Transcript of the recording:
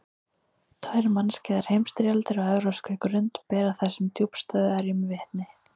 Tvær mannskæðar heimsstyrjaldir á evrópskri grund bera þessum djúpstæðu erjum vitni.